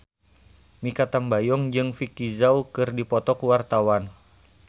Mikha Tambayong jeung Vicki Zao keur dipoto ku wartawan